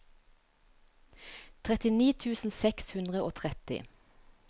trettini tusen seks hundre og tretti